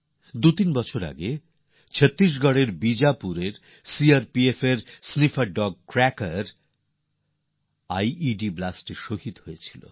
দুতিন বছর আগে ছত্তিশগড়ের বিজাপুরে সি আর পি এফ এর স্নাইফার ডগ ক্র্যাকারও আই ই ডি বিস্ফোরণে শহিদ হয়ে যায়